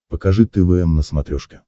покажи твм на смотрешке